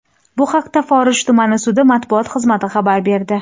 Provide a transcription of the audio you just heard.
Bu haqda Forish tuman sudi matbuot xizmati xabar berdi.